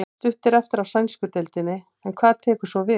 Stutt er eftir af sænsku deildinni en hvað tekur svo við?